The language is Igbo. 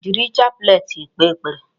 Jiri chaplet kpee ekpere.